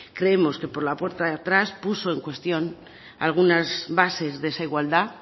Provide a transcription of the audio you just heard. creemos que por la puerta de atrás puso en cuestión alguna bases de esa igualdad